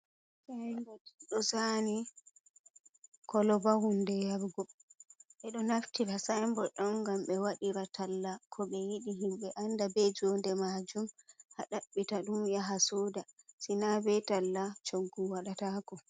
Sin bod ɗo zani koloba hunde yarugo bedo naftira sin bod don gam be waɗira talla ko be yidi himbe anda be jonde majum ha ɗabbita dum yaha suda, sina be talla coggu waɗatako